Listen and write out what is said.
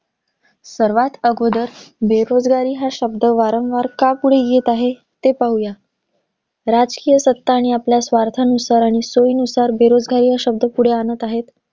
सर्वात आगोदर, बेरोजगारी हा शब्द वारंवार का पुढे येत आहे ते पाहूया. राजकीय सत्ता आणि आपल्या स्वार्थानुसार, आणि सोयीनुसार बेरोजगारी हा शब्द पुढे आणत आहेत.